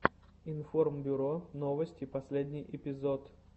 информбюро новости последний эпизод